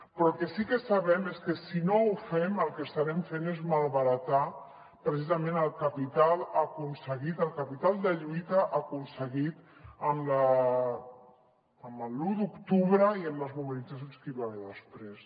però el que sí que sabem és que si no ho fem el que estarem fent és malbaratar precisament el capital aconseguit el capital de lluita aconseguit amb l’u d’octubre i amb les mobilitzacions que hi va haver després